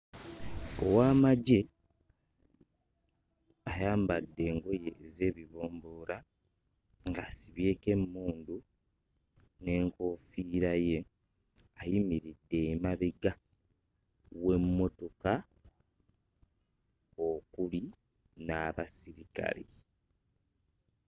Ow'amagye ayambadde engoye ez'ebibomboola ng'asibyeko emmundu n'enkofiira ye. Ayimiridde emabega w'emmotoka okuli n'abasirikale.